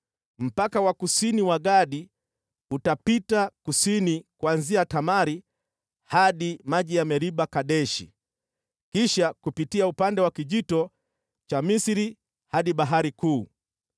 “Mpaka wa kusini wa Gadi utapita kusini kuanzia Tamari hadi maji ya Meriba-Kadeshi, kisha kupitia upande wa Kijito cha Misri hadi Bahari Kuu.